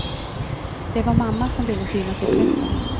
Det var mamma som ville synas i pressen.